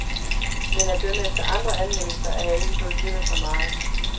Men at dømme efter andre anmeldelser er jeg ikke gået glip af så meget.